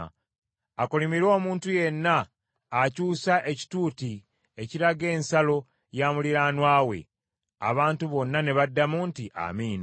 “Akolimirwe omuntu yenna akyusa ekituuti ekiraga ensalo ya muliraanwa we.” Abantu bonna ne baddamu nti, “Amiina.”